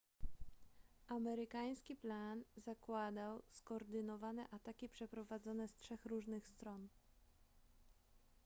amerykański plan zakładał skoordynowane ataki przeprowadzone z trzech różnych stron